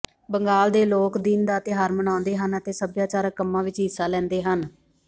ਬੰਗਾਲ ਦੇ ਲੋਕ ਦਿਨ ਦਾ ਤਿਉਹਾਰ ਮਨਾਉਂਦੇ ਹਨ ਅਤੇ ਸਭਿਆਚਾਰਕ ਕੰਮਾਂ ਵਿਚ ਹਿੱਸਾ ਲੈਂਦੇ ਹਨ